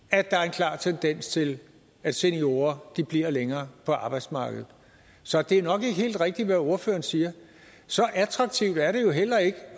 klar tendens til at seniorer bliver længere på arbejdsmarkedet så det er nok ikke helt rigtigt hvad ordføreren siger så attraktivt er det jo heller ikke